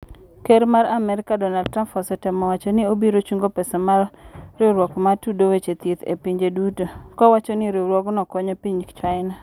Ker mar Amerika, Donald Trump osetemo wacho ni obiro chungo pesa ma riwruok ma tudo weche thieth e pinje duto , kowacho ni riwruogno konyo piny China